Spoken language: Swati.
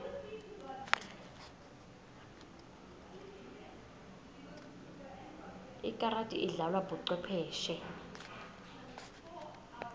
ikarati idlalwa bocwepheshe